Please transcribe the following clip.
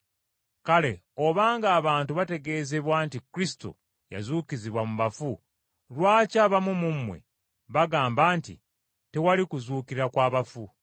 Kale obanga abantu bategeezebwa nti Kristo yazuukizibwa mu bafu lwaki abamu mu mmwe bagamba nti tewali kuzuukira kwa bafu?